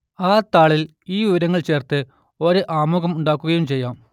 ആ താളിൽ ഈ വിവരങ്ങൾ ചേർത്ത് ഒരു ആമുഖം ഉണ്ടാക്കുകയും ചെയ്യാം